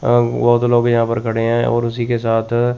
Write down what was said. अ बहोत लोग यहा पे खड़े हैं और उसी के साथ अ--